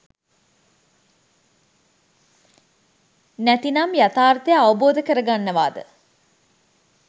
නැතිනම් යථාර්ථය අවබෝධ කරගන්නවාද